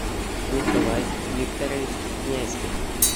николай викторович князькин